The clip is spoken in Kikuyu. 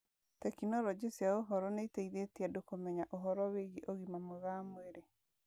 Tekinoronjĩ cia ũhoro nĩ iteithĩtie andũ kũmenya ũhoro wĩgiĩ ũgima mwega wa mwĩrĩ